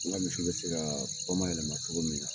N ka misiw bɛ se ka bamayɛlɛma cogo min na